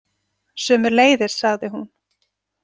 Sömuleiðis, sagði hún.